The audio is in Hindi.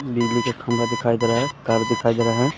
बिजली के खंभा दिखाई दे रहा है। कार दिखाई दे रहा है।